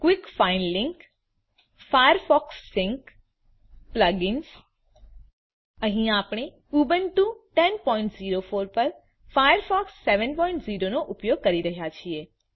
Quick find link Firefox sync Plug ins અહીં આપણે Ubuntu 1004 પર ફાયરફોક્સ 70 નો ઉપયોગ કરી રહ્યા છીએ